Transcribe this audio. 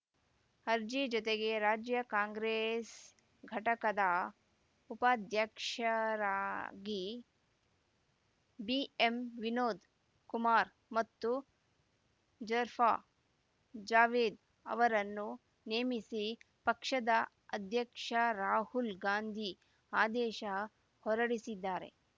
ಅರ್ಜಿ ಜೊತೆಗೆ ರಾಜ್ಯ ಕಾಂಗ್ರೆಸ್‌ ಘಟಕದ ಉಪಾಧ್ಯಕ್ಷರಾಗಿ ಬಿಎಂವಿನೋದ್‌ ಕುಮಾರ್‌ ಮತ್ತು ಜರ್ಫಾ ಜಾವೇದ್‌ ಅವರನ್ನು ನೇಮಿಸಿ ಪಕ್ಷದ ಅಧ್ಯಕ್ಷ ರಾಹುಲ್‌ ಗಾಂಧಿ ಆದೇಶ ಹೊರಡಿಸಿದ್ದಾರೆ